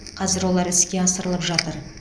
қазір олар іске асырылып жатыр